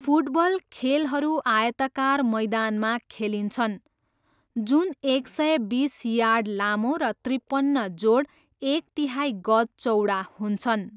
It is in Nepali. फुटबल खेलहरू आयताकार मैदानमा खेलिन्छन्, जुन एक सय बिस यार्ड लामो र त्रिपन्न जोड एक तिहाइ गज चौडा हुन्छन्।